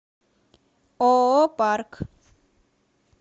ооо парк